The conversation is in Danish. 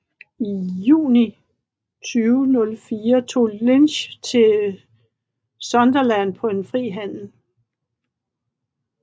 I juli 2004 tog Lynch til Sunderland på en fri handel